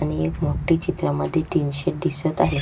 आणि एक मोठी चित्रामध्ये टेन्शन दिसत आहे.